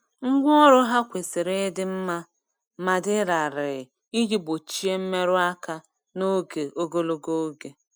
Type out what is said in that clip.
Ngwa ọrụ ha kwesiri ịdị mma ma dị larịị iji gbochie mmerụ aka n'oge ogologo oge.